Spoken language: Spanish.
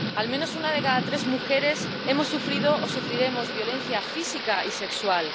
Al menos una de cada tres mujeres hemos sufrido o sufriremos violencia física y sexual.